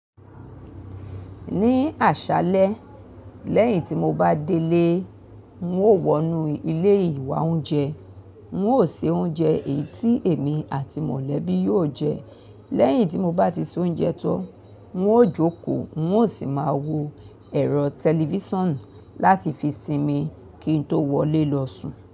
Ní àṣálẹ́, lẹ́yìn tí mo bá délé, n ó wọnú ilé ìwá oúnjẹ, n ó se oúnjẹ èyí tí èmi àti mọ̀lẹ́bí yóò jẹ. Lẹ́yìn tí mo bá ti se oúnjẹ tán, n ó jókòó, n ó sì máa wo ẹ̀rọ tẹlifíṣàn láti fi sinmi kí n tó wọlé lọ sùn.